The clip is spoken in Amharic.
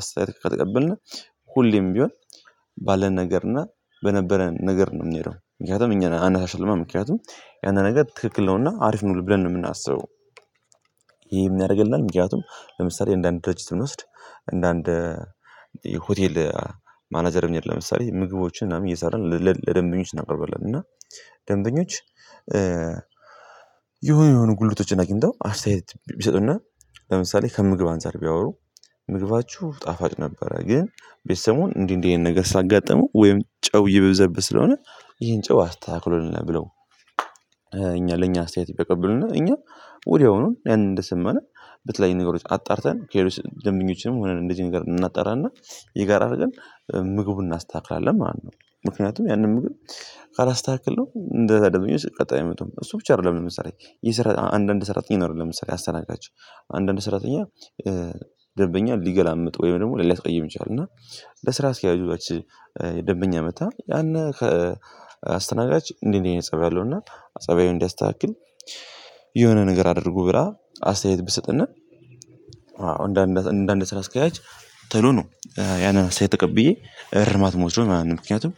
አስተያየት ከተቀበልን ሁሌም ቢሆን ባለን ነገር እና በነበረን ነገር ነው የምንሄደው ምክንያቱም እኛ አናሻልማ ምክንያቱም ያንዳንድ ነገር ትክክል ነውና አሪፍ ነው ብለን ነው የምናስበው። ይሄ የምናደርግልናል ምክንያቱም ለምሳሌ እንደ አንድ ድርጅት ስንወስድ እንደ አንድ ሆቴል ማናጀር ለምሳሌ ምግቦችን ምናምን እየሰራን ለደንበኞች እናቀርባለን። እና ደንተኞች የሆነ የሆኑ ጉድለቶችን አግኝተው አስተያየት ቢሰጡና ለምሳሌ ከምግብ አንፃር ቢያወሩ ምግባችሁ ጣፋጭ ነበረ ግን ቤዚ ሰሙን እንዲህ እንዲህ ይሄን ነገር ሳጋጥመው ወይም ጨው እየበዛበን ስለሆነ ይሄን ጨው አስተካክሉልን ብለው። እኛ ለኛ አስተያየት ቢያቀበሉና እኛ ወዲያውኑ ያንን እንደሰማን በተለይ ነገሮች አጣርተን ከሌሎች ደንብኞችንም ሆነን እንደዚህ ነገር እናጠራና የጋራ አርገን ምግቡን እናስተካክላለን ማለት ነው። ምክንያቱም ያንን ምግብ ካላስተካክለው እንደዛ ደግሞ ቀጣይ አይመጡ እሱ ብቻ አይደለም የስራ አንዳንድ ሰራተኛ ይኖራሉ ለምሳሌ አሰናቃችሁ አንዳንድ ሰራተኛ ደበኛ ሊገላምጥ ወይም ደግሞ ሊያስቀይም ይችላል። እና ለስራ አስኪያጁው ያቺ ደንበኛ መጥታ ያን ከአስተናጋጅ እንዲህ እንዲህ እይነት ፀባይ አለውና ጸባይው እንዲያስተካክል የሆነ ነገር አድርጉ ብላ አስተያየት ብትሰጥና አዎ እንደ እንደ እንደ ስራ አስኪያጅ ተሎ ነው ያንን አስተያየት ተቀብዬ እርማት ምወስደው ማለት ነው። ምክንያቱም